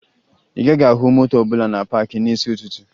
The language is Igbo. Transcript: Ị gaghị ahụ moto ọbụla na paakị n'isi ụtụtụ